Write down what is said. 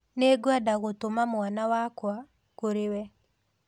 Nĩngwenda gũtũma mwana wake kũrĩ we.